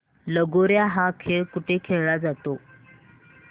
लगोर्या हा खेळ कुठे खेळला जातो